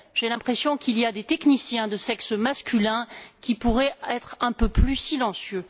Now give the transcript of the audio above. J'ai l'impression qu'il y a des techniciens de sexe masculin qui pourraient être un peu plus silencieux.